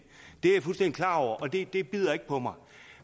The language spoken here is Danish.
det er klar over og det det bider ikke på mig